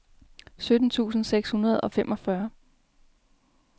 sytten tusind seks hundrede og femogfyrre